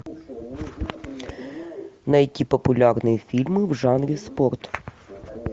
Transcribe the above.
найти популярные фильмы в жанре спорт